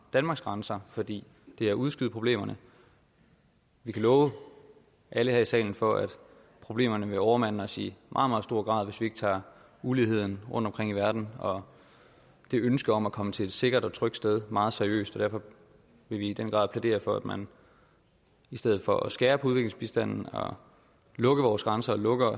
danmarks grænser for det er at udskyde problemerne vi kan love alle her i salen for at problemerne vil overmande os i meget stor grad hvis vi ikke tager uligheden rundtomkring i verden og det ønske om at komme til et sikkert og trygt sted meget seriøst derfor vil vi i den grad plædere for at man i stedet for at skære på udviklingsbistanden og lukke vores grænser og lukke